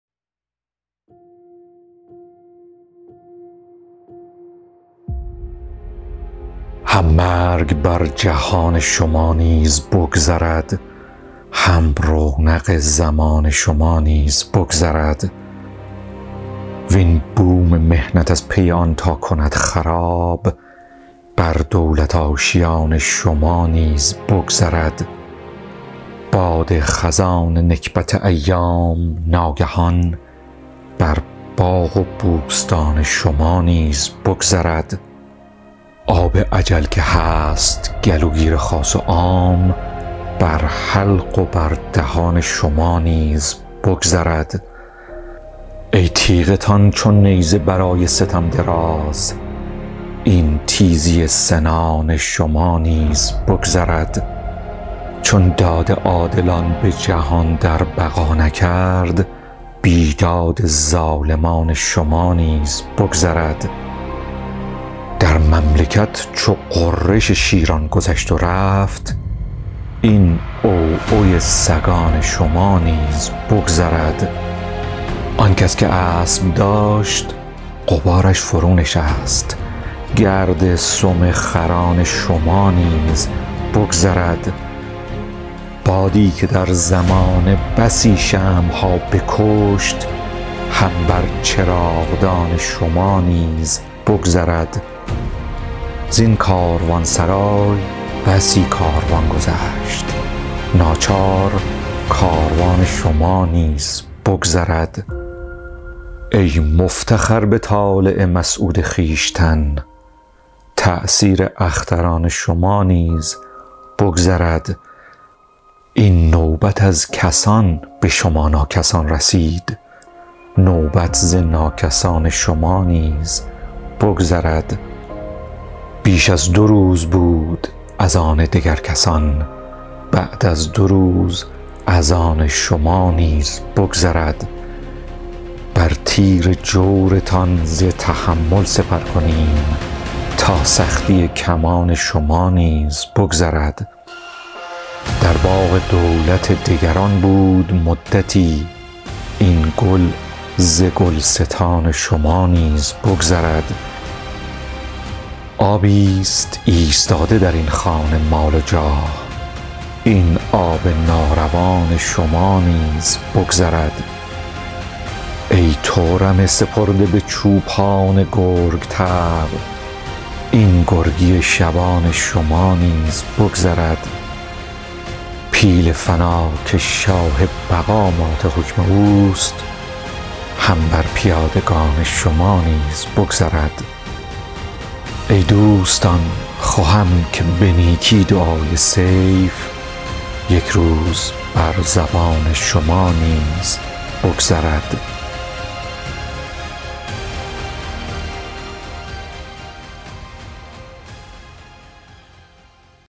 هم مرگ بر جهان شما نیز بگذرد هم رونق زمان شما نیز بگذرد وین بوم محنت از پی آن تا کند خراب بر دولت آشیان شما نیز بگذرد باد خزان نکبت ایام ناگهان بر باغ و بوستان شما نیز بگذرد آب اجل که هست گلوگیر خاص و عام بر حلق و بر دهان شما نیز بگذرد ای تیغتان چو نیزه برای ستم دراز این تیزی سنان شما نیز بگذرد چون داد عادلان به جهان در بقا نکرد بیداد ظالمان شما نیز بگذرد در مملکت چو غرش شیران گذشت و رفت این عوعو سگان شما نیز بگذرد آن کس که اسب داشت غبارش فرونشست گرد سم خران شما نیز بگذرد بادی که در زمانه بسی شمع ها بکشت هم بر چراغدان شما نیز بگذرد زین کاروانسرای بسی کاروان گذشت ناچار کاروان شما نیز بگذرد ای مفتخر به طالع مسعود خویشتن تأثیر اختران شما نیز بگذرد این نوبت از کسان به شما ناکسان رسید نوبت ز ناکسان شما نیز بگذرد بیش از دو روز بود از آن دگر کسان بعد از دو روز از آن شما نیز بگذرد بر تیر جورتان ز تحمل سپر کنیم تا سختی کمان شما نیز بگذرد در باغ دولت دگران بود مدتی این گل ز گلستان شما نیز بگذرد آبی ست ایستاده درین خانه مال و جاه این آب ناروان شما نیز بگذرد ای تو رمه سپرده به چوپان گرگ طبع این گرگی شبان شما نیز بگذرد پیل فنا که شاه بقا مات حکم اوست هم بر پیادگان شما نیز بگذرد ای دوستان خوهم که به نیکی دعای سیف یک روز بر زبان شما نیز بگذرد